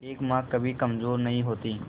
एक मां कभी कमजोर नहीं होती